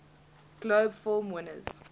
globe film winners